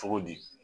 Cogo di